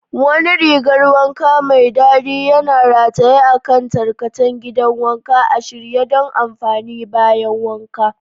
Wani rigar wanka mai dadi yana rataye a kan tarkacen gidan wanka, a shirye don amfani bayan wanka.